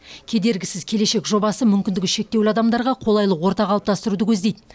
кедергісіз келешек жобасы мүмкіндігі шектеулі адамдарға қолайлы орта қалыптастыруды көздейді